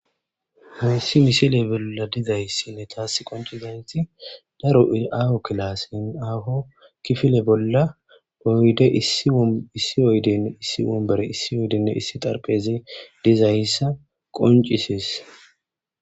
hayssi misile bolla dizayssinne taas qoncizenti daro iaho kilasin aho kifile bolla boyde issi oyden issi umbere issi oydenne issi tarpheze dizayssa qoncisis